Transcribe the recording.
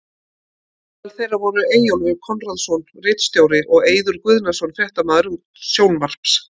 Meðal þeirra voru Eyjólfur Konráð Jónsson ritstjóri og og Eiður Guðnason fréttamaður sjónvarps.